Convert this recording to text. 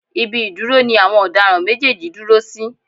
Ibi ìdúró ni àwọn ọ̀daràn méjèèjì dúró sí.